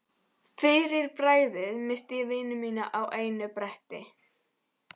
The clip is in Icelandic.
Fyrir bragðið missti ég vini mína á einu bretti.